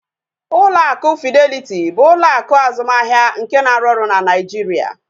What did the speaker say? Ụlọ akụ Fideliti bụ ụlọ akụ azụmahịa nke na-arụ ọrụ na Naijiria